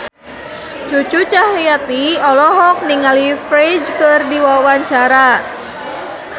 Cucu Cahyati olohok ningali Ferdge keur diwawancara